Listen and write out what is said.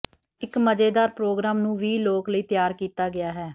ਇੱਕ ਮਜ਼ੇਦਾਰ ਪ੍ਰੋਗਰਾਮ ਨੂੰ ਵੀਹ ਲੋਕ ਲਈ ਤਿਆਰ ਕੀਤਾ ਗਿਆ ਹੈ